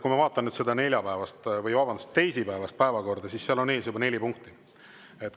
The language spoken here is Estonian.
Kui ma vaatan nüüd teisipäevast päevakorda, siis seal on ees juba neli punkti.